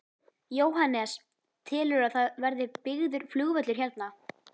Jóhannes: Telurðu að það verði byggður flugvöllur hérna?